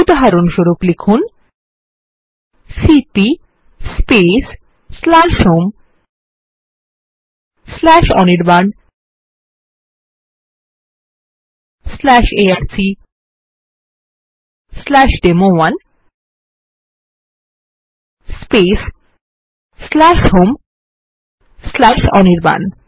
উদাহরণস্বরূপ লিখুন সিপি homeanirbanarcডেমো1 হোম অনির্বাণ